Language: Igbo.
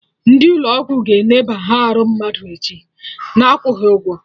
Ndị ụlọ ọgwụ ga-eneba arụ mmadụ echi, na-akwụghị ụgwọ